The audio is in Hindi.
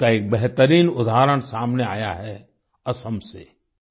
इसका एक बेहतरीन उदाहरण सामने आया है असम से